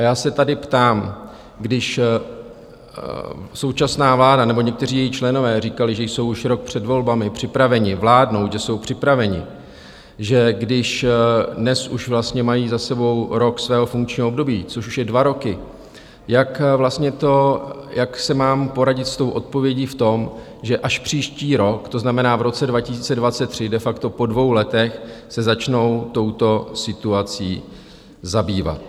A já se tady ptám, když současná vláda nebo někteří její členové říkali, že jsou už rok před volbami připraveni vládnout, že jsou připraveni, že když dnes už vlastně mají za sebou rok svého funkčního období, což už je dva roky, jak si mám poradit s tou odpovědí v tom, že až příští rok, to znamená v roce 2023, de facto po dvou letech, se začnou touto situací zabývat.